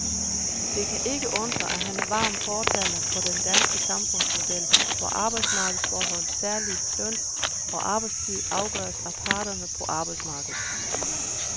Det kan ikke undre, at han er en varm fortaler for den danske samfundsmodel, hvor arbejdsmarkedsforhold, særligt løn og arbejdstid, afgøres af parterne på arbejdsmarkedet.